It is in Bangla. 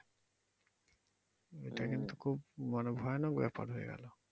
এটা কিন্তু খুব মানে ভয়ানক ব্যাপার হয়ে গেলো।